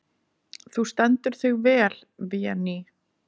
Þú stendur þig vel, Véný!